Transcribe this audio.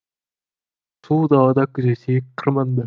сұлу далада күзетейік қырманды